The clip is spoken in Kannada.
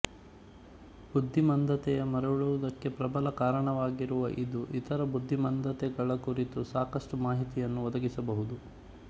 ಬುದ್ಧಿ ಮಾಂದ್ಯತೆಯ ಮರಳುವುದಕ್ಕೆ ಪ್ರಬಲ ಕಾರಣವಾಗುವ ಇದು ಇತರ ಬುದ್ಧಿ ಮಾಂದ್ಯತೆಗಳ ಕುರಿತು ಸಾಕಷ್ಟು ಮಾಹಿತಿಯನ್ನು ಒದಗಿಸಬಹುದು